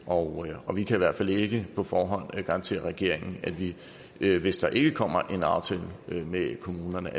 og og vi kan i hvert fald ikke på forhånd garantere regeringen at vi vi hvis der ikke kommer en aftale med kommunerne